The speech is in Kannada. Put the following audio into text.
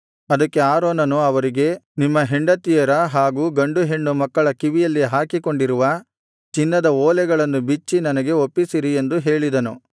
ಅದಕ್ಕೆ ಆರೋನನು ಅವರಿಗೆ ನಿಮ್ಮ ಹೆಂಡತಿಯರ ಹಾಗು ಗಂಡುಹೆಣ್ಣು ಮಕ್ಕಳ ಕಿವಿಯಲ್ಲಿ ಹಾಕಿಕೊಂಡಿರುವ ಚಿನ್ನದ ಓಲೆಗಳನ್ನು ಬಿಚ್ಚಿ ನನಗೆ ಒಪ್ಪಿಸಿರಿ ಎಂದು ಹೇಳಿದನು